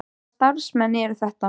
Hvaða starfsmenn eru þetta?